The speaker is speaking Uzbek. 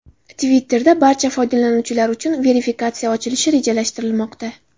Twitter’da barcha foydalanuvchilar uchun verifikatsiya ochilishi rejalashtirilmoqda.